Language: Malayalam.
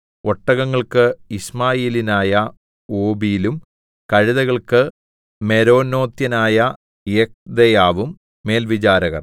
ഒട്ടകങ്ങൾക്ക് യിശ്മായേല്യനായ ഓബീലും കഴുതകൾക്ക് മെരോനോത്യനായ യെഹ്ദെയാവും മേൽവിചാരകർ